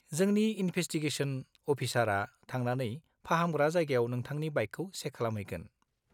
-जोंनि इनभेसटिगेसन अफिसारआ थांनानै फाहामग्रा जायगायाव नोंथांनि बाइकखौ चेक खालामहैगोन।